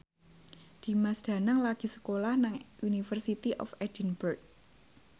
Dimas Danang lagi sekolah nang University of Edinburgh